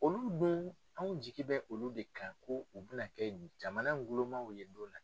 Olu dun anw jigi bɛ olu de kan ko u bɛ na kɛ bi jamana gulonmaaw ye.